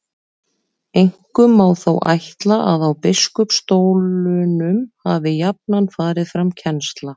Einkum má þó ætla að á biskupsstólunum hafi jafnan farið fram kennsla.